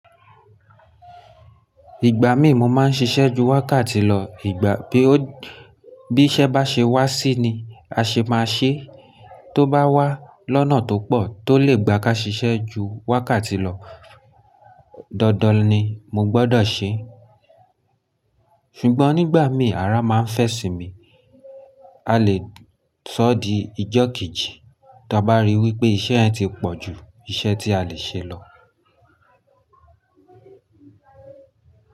Ìgbà mí mo máa ń ṣiṣẹ́ ju wákàtí lọ, ìgbà bí iṣẹ́ bá ṣe wá sí ni a ṣe máa ṣe, tó bá wá lọ́nà tó pọ̀ tó lè gba ká ṣiṣẹ́ ju wákàtí lọ, dandan ni mo gbọdọ̀ ṣe. Ṣùgbọ́n nígbà mí ara máa ń fẹ́ sì mi, a lè sọ di ijọ́ kejì ta bá rí wípé iṣẹ́ yen ti pọ̀ ju iṣẹ́ tí a lè ṣe lọ.